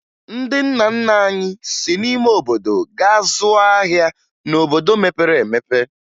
Ndị nna nna anyị si n'ime obodo gaa zụọ ahịa n'obodo mepere emepe